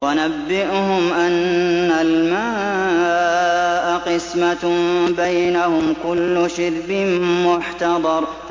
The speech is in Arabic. وَنَبِّئْهُمْ أَنَّ الْمَاءَ قِسْمَةٌ بَيْنَهُمْ ۖ كُلُّ شِرْبٍ مُّحْتَضَرٌ